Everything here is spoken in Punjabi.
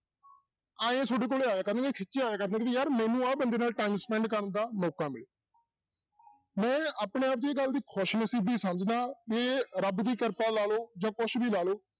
ਇਉਂ ਤੁਹਾਡੇ ਕੋਲ ਆਇਆ ਕਰਨਗੇ ਖਿੱਚ ਆਇਆ ਕਰਨਗੇ ਯਾਰ ਮੈਨੂੰ ਆਹ ਬੰਦੇ ਨਾਲ time spend ਕਰਨ ਦਾ ਮੌਕਾ ਮਿਲੇ ਮੈਂ ਆਪਣੇ ਆਪ ਗੱਲ ਦੀ ਖ਼ੁਸ਼ਨਸ਼ੀਬੀ ਸਮਝਦਾ ਵੀ ਰੱਬ ਦੀ ਕਿਰਪਾ ਲਾ ਲਓ ਜਾਂ ਕੁਛ ਵੀ ਲਾ ਲਓ